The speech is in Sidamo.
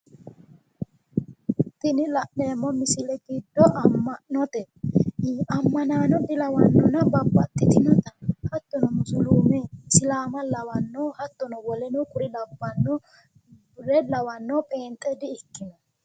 tini la'neemmo misile giddo amma'note ammanaano dilawannona babbaxitinota haattono musuluume lawannona hattono wole kuri labbannore lawanno pheenxe di ikkino.